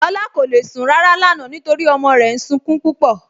Lọla kò le sun ràrà lánà nítorí ọmọ rè ń súnkún púpọ.